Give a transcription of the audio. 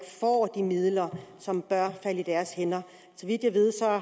får de midler som bør falde i deres hænder så vidt jeg ved